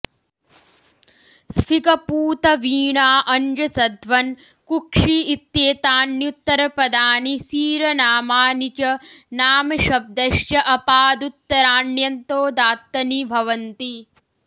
स्फिग पूत वीणा अञ्जसध्वन् कुक्षि इत्येतान्युत्तरपदानि सीरनामानि च नामशब्दश्च अपादुत्तराण्यन्तोदात्तनि भवन्ति